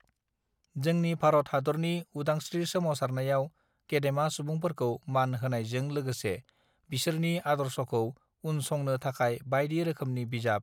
जोंनि भारत हादरनि उदांस् त्रि सोमावसारनायाव गेदेमा सुबुंफोरखौ मान होनायजों लोगोसे बिसोरनि आदर्शखौ उनसंनो थाखाय बायदि रोखोमनि बिजाब